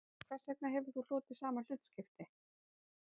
En hvers vegna hefur þú hlotið sama hlutskipti